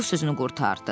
Co sözünü qurtardı.